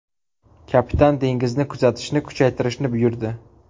Kapitan dengizni kuzatishni kuchaytirishni buyurdi.